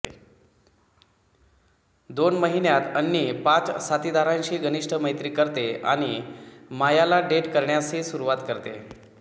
दोन महिन्यांत अन्नी पाच साथीदारांशी घनिष्ट मैत्री करते आणि मायाला डेट करण्यासही सुरूवात करते